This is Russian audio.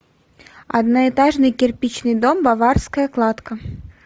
одноэтажный кирпичный дом баварская кладка